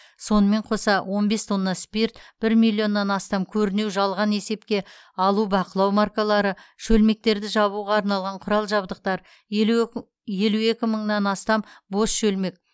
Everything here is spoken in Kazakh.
сонымен қоса он бес тонна спирт бір миллионнан астам көрінеу жалған есепке алу бақылау маркалары шөлмектерді жабуға арналған құрал жабдықтар елу еку елу екі мыңнан астам бос шөлмек